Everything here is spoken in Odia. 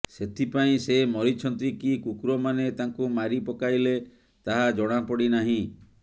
ସେଥିପାଇଁ ସେ ମରିଛନ୍ତି କି କୁକୁରମାନେ ତାଙ୍କୁ ମାରି ପକାଇଲେ ତାହା ଜଣାପଡ଼ି ନାହିଁ